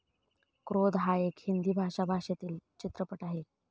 क्रोध हा एक हिंदी भाषा भाषेतील चित्रपट आहे.